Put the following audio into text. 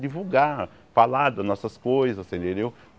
Divulgar, falar das nossas coisas, você entendeu?